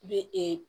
Be ee